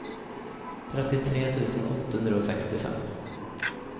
trettitre tusen åtte hundre og sekstifem